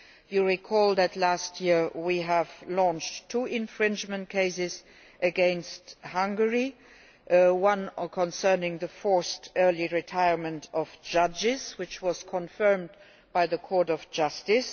You will recall that last year we launched two infringement cases against Hungary, one concerning the forced early retirement of judges, which was confirmed by the Court of Justice.